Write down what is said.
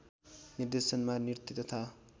निर्देशनमा नृत्य तथा